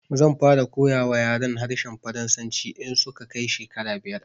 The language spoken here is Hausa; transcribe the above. Zan fara koya wa yaran harshen Faransanci in su ka kai shekara biyar